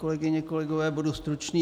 Kolegyně, kolegové, budu stručný.